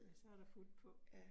Ja, så der fut på